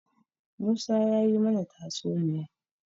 Musa ya yi mana tatsuniya.